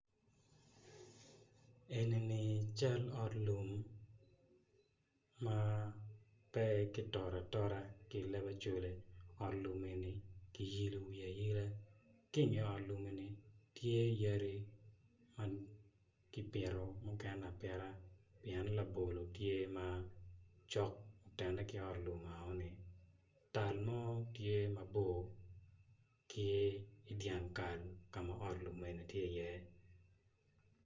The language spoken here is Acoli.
Enini cal ot lum ma pe kitotogi atota ento kiiologi aila ki i nge ot lum eni tye yadi ma kipitogi apita pien labolo tye cok ma otene ki ot lum enononi.